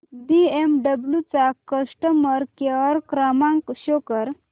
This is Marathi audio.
बीएमडब्ल्यु चा कस्टमर केअर क्रमांक शो कर